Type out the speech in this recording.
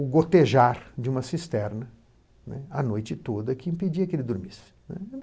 o gotejar de uma cisterna, né, a noite toda, que impedia que ele dormisse.